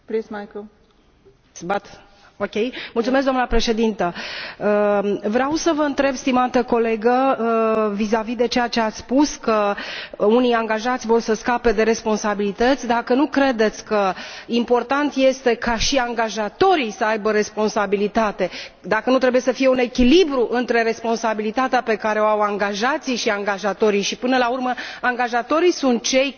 Vreau să vă întreb, stimată colegă, vizavi de ceea ce ați spus, că unii angajați vor să scape de responsabilități, dacă nu credeți că important este ca și angajatorii să aibă responsabilitate, dacă nu trebuie să fie un echilibru între responsabilitatea pe care o au angajații și angajatorii și, până la urmă, angajatorii sunt cei care trebuie să inducă un mod de lucru și o conduită și, practic,